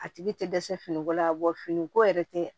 A tigi tɛ dɛsɛ finiko la bɔ finiko yɛrɛ tɛ